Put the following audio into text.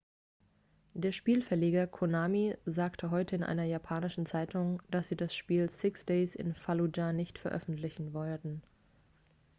der spielverleger konami sagte heute in einer japanischen zeitung dass sie das spiel six days in fallujah nicht veröffentlichen werden